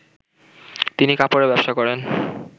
তিনি কাপড়ের ব্যবসা করেন